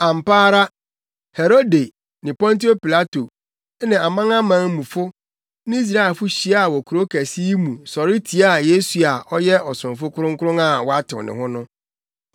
Ampa ara Herode ne Pontio Pilato ne amanamanmufo ne Israelfo hyiaa wɔ kurow kɛse yi mu sɔre tiaa Yesu a ɔyɛ Ɔsomfo Kronkron a woatew ne ho no.